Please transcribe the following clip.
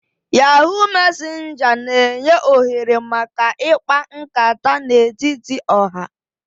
Yahoo mesenja n'enye ohere maka ikpa nkata n'etiti oha